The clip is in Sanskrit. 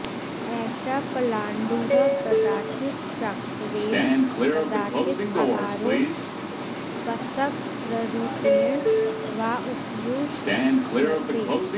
एषः पलाण्डुः कदाचित् शाकत्वेन कदाचित् आहारोपस्कररूपेण वा उपयुज्यते